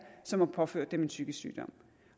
som har påført dem en psykisk sygdom